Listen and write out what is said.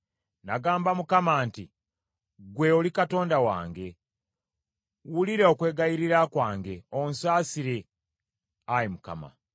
Nagamba Mukama nti, “Ggwe oli Katonda wange.” Wulira okwegayirira kwange, onsaasire, Ayi Mukama !